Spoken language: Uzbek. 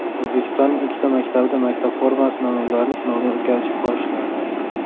O‘zbekistonning ikkita maktabida maktab formasi namunalarini sinovdan o‘tkazish boshlandi.